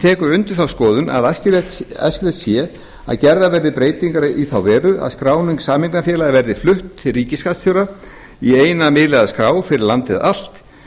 tekur undir þá skoðun að æskilegt sé að gerðar verði breytingar í þá veru að skráning sameignarfélaga verði flutt til ríkisskattstjóra í eina miðlæga skrá fyrir landið